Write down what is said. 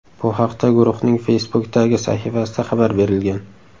Bu haqda guruhning Facebook’dagi sahifasida xabar berilgan .